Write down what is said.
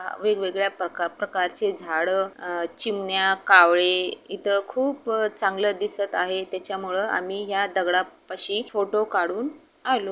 वेगवेगळ्या प्रकार प्रकार चे झाड अ चिमन्या कावळे इथे खूप चांगल दिसत आहे त्याच्या मूळ आम्ही या दगडा पाशी फोटो कडून आलो.